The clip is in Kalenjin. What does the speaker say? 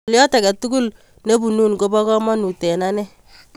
Ng'alyot ake tukul kopunun ko po kamanut eng' ane.